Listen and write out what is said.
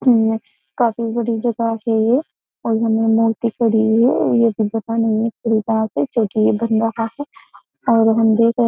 काफी बड़ी जगह है और हमें मूर्ति पड़ी है और क्योंकि ये और हम देख --